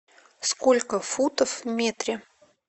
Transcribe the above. сколько футов в метре